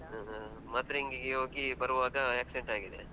ಹಾ ಹಾ. ಮದ್ರೆ ಅಂಗಿಗೆ ಹೋಗಿ ಬರುವಾಗ accident ಆಗಿದೆ.